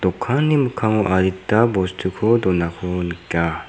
dokanni mikkango adita bostuko donako nika.